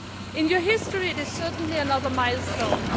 President Christofias, in your history it is certainly another milestone.